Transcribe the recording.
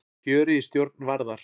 Kjörið í stjórn Varðar